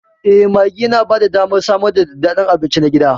Eh, maggi yana ba da damar samar da daddaɗan abinci na gida.